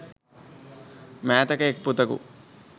මෑතක එක් පුතකු